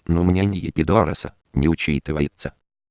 но у меня не два раза не учитывается